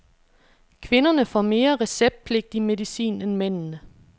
Kvinderne får mere receptpligtig medicin end mændene.